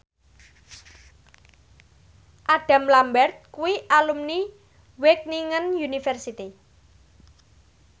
Adam Lambert kuwi alumni Wageningen University